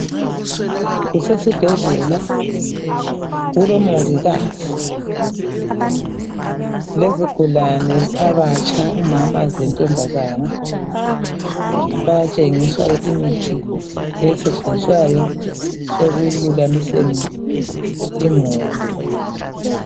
Kusesibhedlela kulomongikazi lezigulane abatsha umama lentombazana bayatshengiswa imithi esetshenziswayo ekululamiseni imuli.